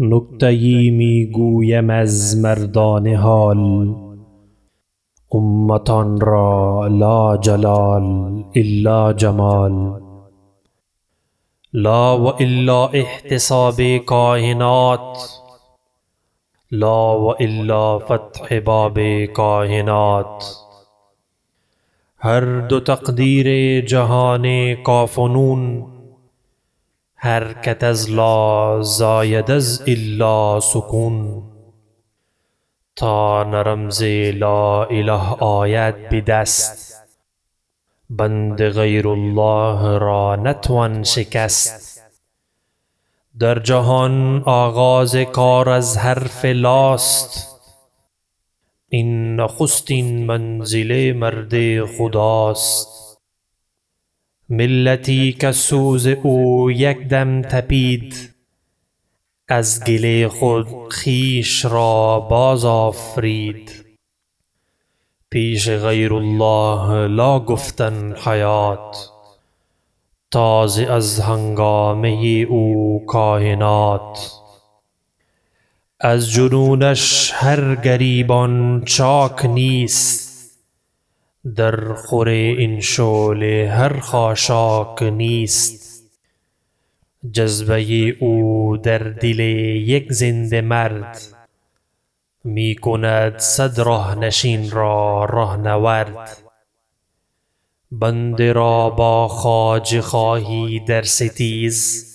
نکته یی میگویم از مردان حال امتان را لا جلال الا جمال لا و الا احتساب کاینات لا و الا فتح باب کاینات هر دو تقدیر جهان کاف و نون حرکت از لا زاید از الا سکون تا نه رمز لااله آید بدست بند غیر الله را نتوان شکست در جهان آغاز کار از حرف لاست این نخستین منزل مرد خداست ملتی کز سوز او یک دم تپید از گل خود خویش را باز آفرید پیش غیر الله لا گفتن حیات تازه از هنگامه او کاینات از جنونش هر گریبان چاک نیست در خور این شعله هر خاشاک نیست جذبه او در دل یک زنده مرد می کند صد ره نشین را ره نورد بنده را با خواجه خواهی در ستیز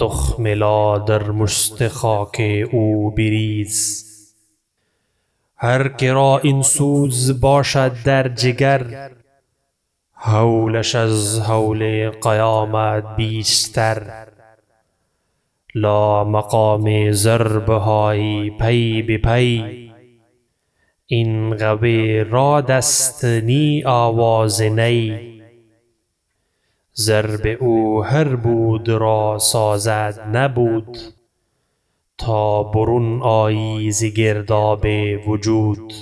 تخم لا در مشت خاک او بریز هر کرا این سوز باشد در جگر هولش از هول قیامت بیشتر لا مقام ضربهای پی به پی این غو رعد است نی آواز نی ضرب او هر بود را سازد نبود تا برون آیی ز گرداب وجود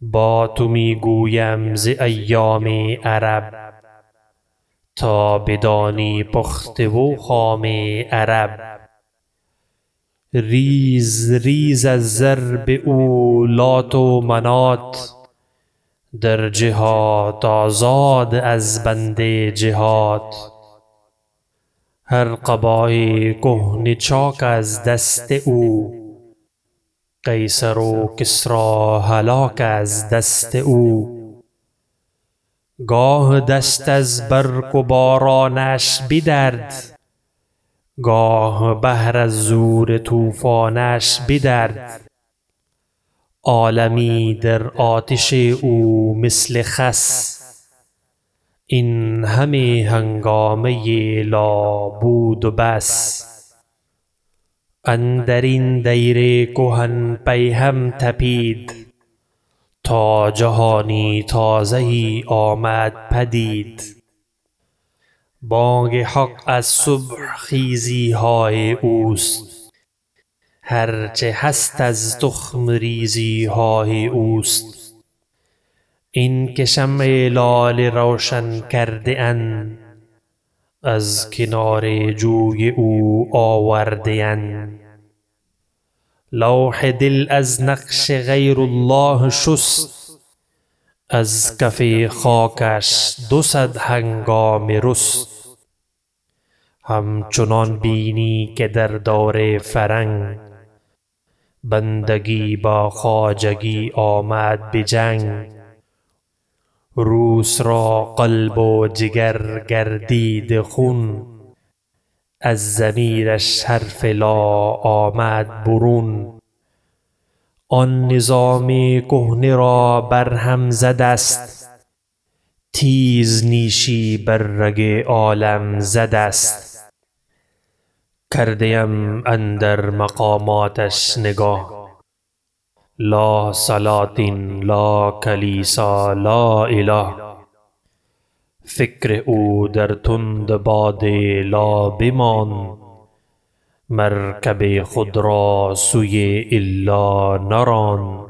با تو میگویم ز ایام عرب تا بدانی پخته و خام عرب ریز ریز از ضرب او لات و منات در جهات آزاد از بند جهات هر قبای کهنه چاک از دست او قیصر و کسری هلاک از دست او گاه دشت از برق و بارانش بدرد گاه بحر از زور طوفانش بدرد عالمی در آتش او مثل خس این همه هنگامه لا بود و بس اندرین دیر کهن پیهم تپید تا جهانی تازه یی آمد پدید بانگ حق از صبح خیزیهای اوست هر چه هست از تخم ریزیهای اوست اینکه شمع لاله روشن کرده اند از کنار جوی او آورده اند لوح دل از نقش غیر الله شست از کف خاکش دو صد هنگامه رست همچنان بینی که در دور فرنگ بندگی با خواجگی آمد به جنگ روس را قلب و جگر گردیده خون از ضمیرش حرف لا آمد برون آن نظام کهنه را برهم زد است تیز نیشی بر رگ عالم زد است کرده ام اندر مقاماتش نگه لا سلاطین لا کلیسا لا اله فکر او در تند باد لا بماند مرکب خود را سوی الا نراند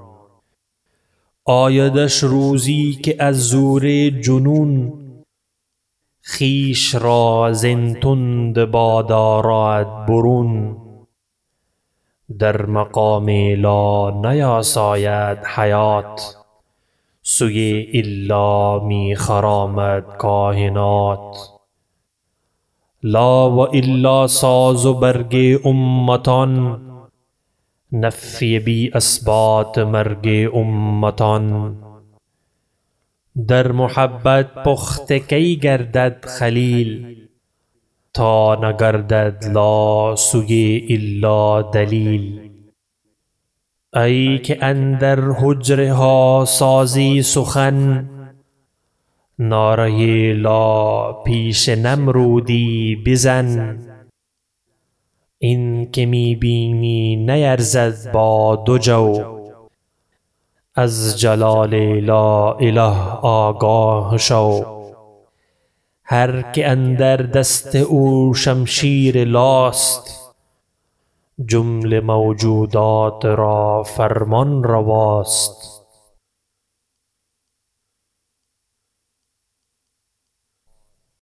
آیدش روزی که از زور جنون خویش را زین تند باد آرد برون در مقام لا نیاساید حیات سوی الا می خرامد کاینات لا و الا ساز و برگ امتان نفی بی اثبات مرگ امتان در محبت پخته کی گردد خلیل تا نگردد لا سوی الا دلیل ایکه اندر حجره ها سازی سخن نعره لا پیش نمرودی بزن این که می بینی نیرزد با دو جو از جلال لا اله آگاه شو هر که اندر دست او شمشیر لاست جمله موجودات را فرمانرواست